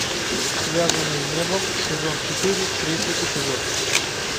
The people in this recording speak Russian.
связанные небом сезон четыре третий эпизод